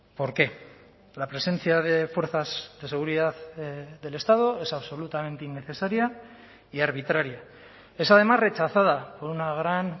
por qué la presencia de fuerzas de seguridad del estado es absolutamente innecesaria y arbitraria es además rechazada por una gran